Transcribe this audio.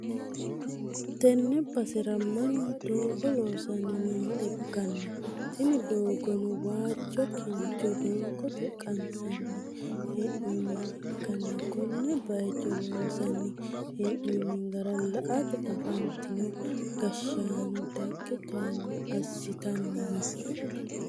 Tenne basera mannu doogo loosanni nooha ikkanna, tini doogono waajjo kincho doogote qansanni hee'noonniha ikkanna, konne bayicho loonsanni hee'noonni gara la'ate afantino gashshaano dagge towaanyo assitanni no.